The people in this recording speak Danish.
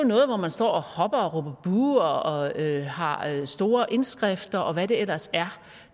noget hvor man står og hopper og råber buh og har store indskrifter og hvad det ellers er